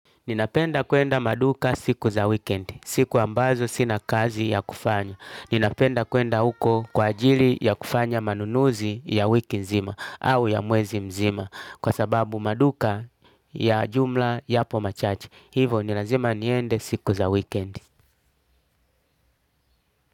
Ninapenda kwenda maduka siku za weekendi. Siku ambazo sina kazi ya kufanya. Ninapenda kwenda uko kwa ajili ya kufanya manunuzi ya wiki nzima au ya mwezi mzima kwa sababu maduka ya jumla yapo machache. Hivo ni lazima niende siku za weekendi.